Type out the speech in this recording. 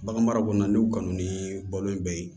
Bagan mara kɔnɔna ni kanu ni bɔlon bɛɛ ye